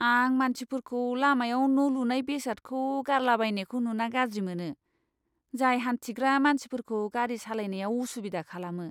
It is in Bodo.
आं मानसिफोरखौ लामायाव न' लुनाय बेसादखौ गारलाबायनायखौ नुना गाज्रि मोनो, जाय हानथिग्रा मानसिफोरखौ गारि सालायनायाव असुबिदा खालामो।